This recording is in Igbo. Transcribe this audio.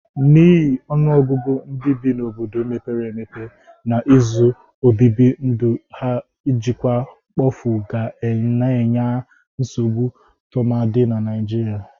N'ihi ọnụọgụgụ ndị bi n'obodo mepere empepe na ụzọ obibi ndu ha njịkwa mkpofu ga na-enye nsogbụ tụmadị na Nịajịrịa.